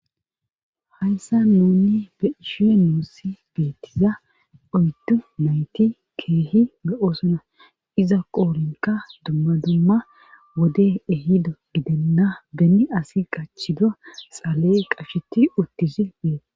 hayssa moonni beishe nuusi deettiza oyddu mayti keehi lo7o sona iza qoolinka dumma dumma wode ehido gidenna benni asi qachida xaaley qasheti uttizi bee